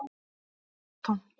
Hér er allt tómt